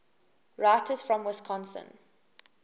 writers from wisconsin